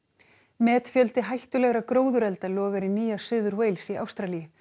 metfjöldi hættulegra gróðurelda logar í Nýja Suður Wales í Ástralíu